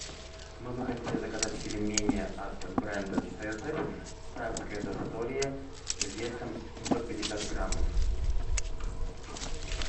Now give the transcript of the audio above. мы бы хотели заказать пельмени от бренда цезарь царское застолье весом семьсот пятьдесят граммов